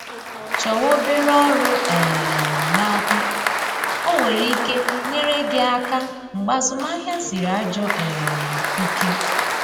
Chọwa obere ọrụ um n’aka, o nwere ike nyere gị aka mgbe azụmahịa sịrị ajọ um ike